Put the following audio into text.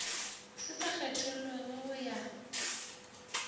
se sa kgethollego go ya